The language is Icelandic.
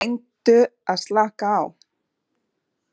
Reyndu að slaka á.